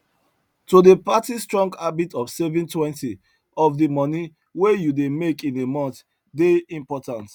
to dey practice strong habit of savingtwentyof the money wey you dey make in a month dey important